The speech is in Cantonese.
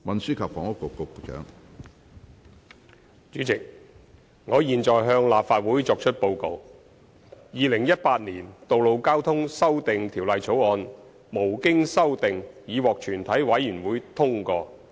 主席，我現在向立法會作出報告：《2018年道路交通條例草案》無經修正已獲全體委員會通過。